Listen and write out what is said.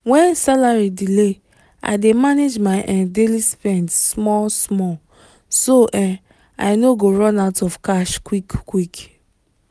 when salary delay i dey manage my um daily spend small-small so um i no go run out of cash quick quick